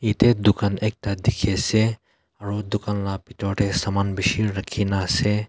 yat teh dukaan ekta dekhi ase aru dukaan lage usor teh samam bishi rakhi na ase.